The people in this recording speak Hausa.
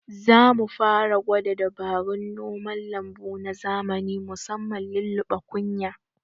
Zamu fara gwada dabarun noman lambu na zamani musamman lulluɓe kunya